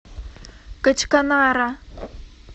качканара